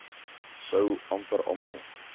sou amper almal